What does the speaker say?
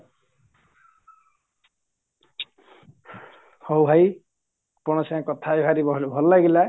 ହଉ ଭାଇ ଆପଣଙ୍କ ସାଙ୍ଗରେ କଥାହେଇ ଭାରି ଭଲ ଲାଗିଲା